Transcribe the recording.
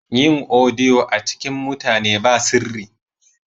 Yin odiyo a cikin mutane ba sirri.